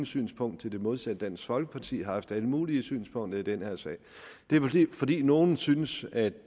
synspunkt til det modsatte og dansk folkeparti har haft alle mulige synspunkter i den her sag det er vel fordi nogle synes at